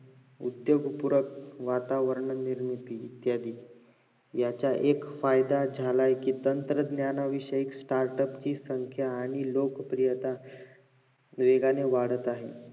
उद्दोगपूरक वातावरण निर्मिती झाली याचा एक फायदा झालाय कि तंत्रज्ञान विषयी startup ची संख्या आणि लोकप्रियता वेगाने वाढत आहे